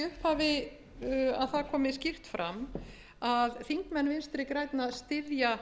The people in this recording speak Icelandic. upphafi að það komi skýrt fram að þingmenn vinstri grænna styðja